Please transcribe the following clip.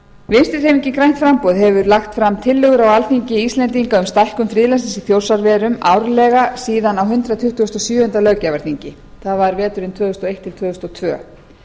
vinstri hreyfingin grænt framboð hefur lagt fram tillögur á alþingi íslendinga um stækkun friðlandsins í þjórsárverum árlega síðan á hundrað tuttugasta og sjöunda löggjafarþingi það var veturinn tvö þúsund og eitt til tvö þúsund og tvö